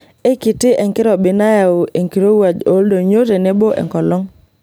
Eikiti enkirobi nayau enkirowuaj ooldonyio tenebo enkolong.